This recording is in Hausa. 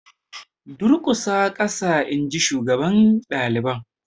Durƙusa ƙasa inji shugaban daliban.